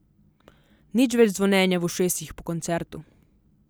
Nič več zvonjenja v ušesih po koncertu.